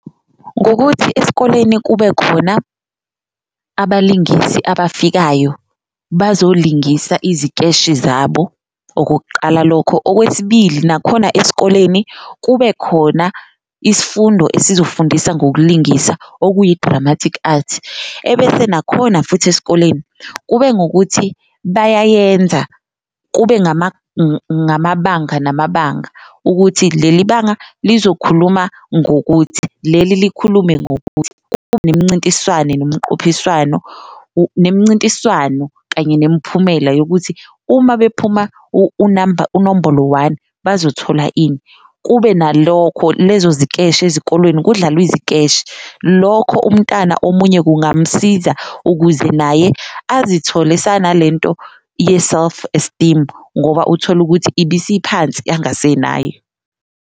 Ngokuthi esikoleni kube khona abalingisi abafikayo bazolingisa izikeshi zabo okokuqala lokho, okwesibili nakhona esikoleni kube khona isfundo esizofundisa ngokulingisa okuyi-dramatic art. Ebese nakhona futhi esikoleni kube ngukuthi bayayenza kube ngamabanga namabanga ukuthi leli banga lizokhuluma ngokuthi, leli likhulume ngokuthi. Kube nemincintiswane nomqophiswano, nemincintiswano kanye nemiphumela yokuthi uma bephuma u-number unombolo one bazothola ini, kube nalokho lezo zikeshi ezikolweni kudlalwe izikeshi. Lokho umntana omunye kungamsiza ukuze naye azithole esana lento ye-self-esteem ngoba uthole ukuthi ibisiphansi angasenayo.